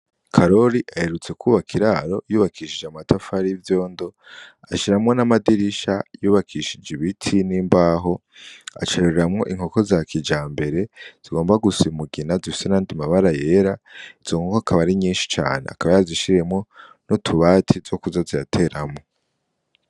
Karori aherutse kubaka iraro yubakishije amatafari yivyondo, ashiramwo n'amadirisha yubakishije ibiti n'imbaho acayororeramwo inkoko za kijambere zigomba gusa umugina zifise n'ayandi mabara yera izo nkoko akaba ari nyinshi cane akaba yarazishiriyemwo N’utubati twokuza zirateramwo.